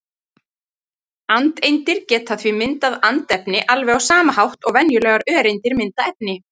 Andeindir geta því myndað andefni alveg á sama hátt og venjulegar öreindir mynda efni.